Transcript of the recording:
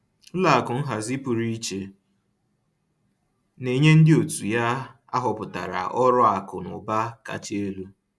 Ụlọ akụ nhazi pụrụ iche na-enye ndị òtù ya ahọpụtara ọrụ akụ na ụba kacha elu